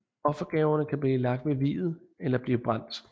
Offergaverne kan blive lagt ved viet eller blive brændt